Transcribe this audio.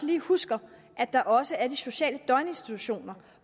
lige huske at der også er de sociale døgninstitutioner